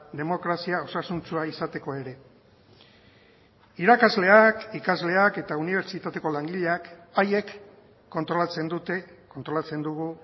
demokrazia osasuntsua izateko ere irakasleak ikasleak eta unibertsitateko langileak haiek kontrolatzen dute kontrolatzen dugu